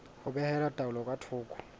ho behela taelo ka thoko